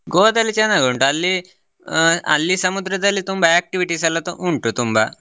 Goa ದಲ್ಲಿ ಚನ್ನಾಗಿ ಉಂಟು ಅಲ್ಲಿ ಆ ಅಲ್ಲಿ ಸಮುದ್ರದಲ್ಲಿ ತುಂಬಾ activities ಎಲ್ಲಾ ಉಂಟು ತುಂಬಾ.